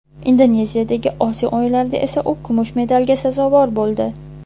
Indoneziyadagi Osiyo o‘yinlarida esa u kumush medalga sazovor bo‘ldi.